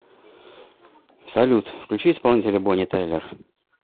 салют включи исполнителя бонни тайлер